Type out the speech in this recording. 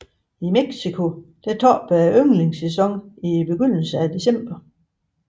I Mexico toppede ynglesæsonen i begyndelsen af december